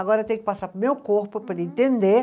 Agora eu tenho que passar para o meu corpo para ele entender.